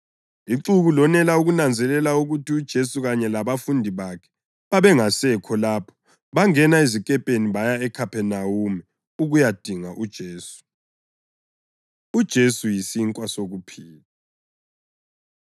Ixuku lonela ukunanzelela ukuthi uJesu kanye labafundi bakhe babengasekho lapho, bangena ezikepeni baya eKhaphenawume ukuyadinga uJesu. UJesu Yisinkwa Sokuphila